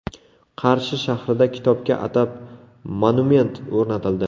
Qarshi shahrida kitobga atab monument o‘rnatildi .